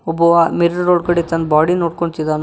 ಒಬ್ಬವ ಮಿರರ್ ನೋಡಿಕೊಂಡಿ ತನ್ ಬಾಡಿ ನೋಡಿಕೊಳ್ಳತಿದನ.